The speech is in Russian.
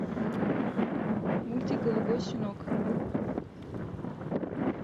мультик голубой щенок